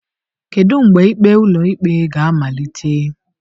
Kedu mgbe ikpe ụlọikpe ga-amalite?